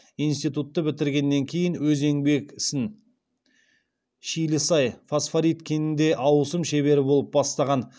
институтты бітіргеннен кейін өз еңбек ісін шилісай фосфорит кенінде ауысым шебері болып бастаған